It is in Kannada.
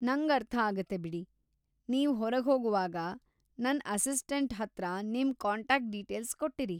ನಂಗರ್ಥ ಆಗುತ್ತೆ ಬಿಡಿ. ನೀವ್‌ ಹೊರಗ್ಹೊಗೋವಾಗ ನನ್‌ ಅಸಿಸ್ಟಂ‌ಟ್ ಹತ್ರ ನಿಮ್‌ ಕಾಂಟಾಕ್ಟ್‌ ಡೀಟೇಲ್ಸ್ ಕೊಟ್ಟಿರಿ.